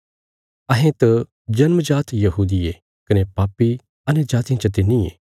अहें त जन्म जात यहूदी ये कने पापी अन्यजातियां चाते नींये